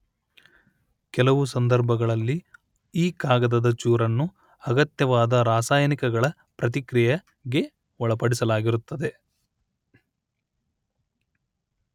ಕೆಲವು ಸಂದರ್ಭಗಳಲ್ಲಿ ಈ ಕಾಗದದ ಚೂರನ್ನು ಅಗತ್ಯವಾದ ರಾಸಾಯನಿಕಗಳ ಪ್ರತಿಕ್ರಿಯೆಗೆ ಒಳಪಡಿಸಲಾಗಿರುತ್ತದೆ